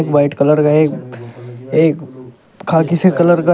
white colour का एक एक खाकी से कलर का--